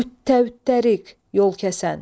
Qüttariq, yolkəsən.